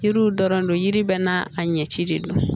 Yiriw dɔrɔn de yiri bɛɛ n'a a ɲɛci de don